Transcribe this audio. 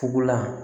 Fugulan